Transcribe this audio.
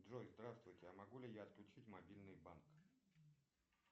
джой здравствуйте а могу ли я отключить мобильный банк